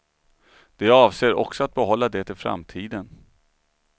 De avser också att behålla det i framtiden.